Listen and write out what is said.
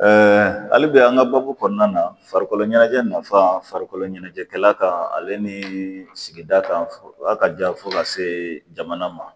hali bi an ka baabu kɔnɔna na farikolo ɲɛnajɛ nafa farikolo ɲɛnajɛkɛla kan ale nii sigida kan a ka jan fo ka se jamana ma